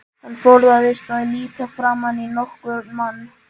Hann forðaðist að líta framan í nokkurn mann.